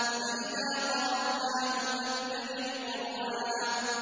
فَإِذَا قَرَأْنَاهُ فَاتَّبِعْ قُرْآنَهُ